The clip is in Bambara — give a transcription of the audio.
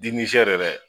dɛ